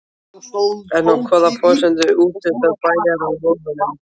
En á hvaða forsendum úthlutar bæjarráð lóðunum?